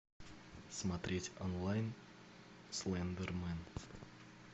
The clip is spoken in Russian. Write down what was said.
смотреть онлайн слендермен